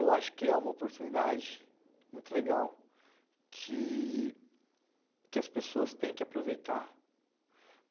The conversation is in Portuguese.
Eu acho que é uma oportunidade muito legal, que que as pessoas têm que aproveitar.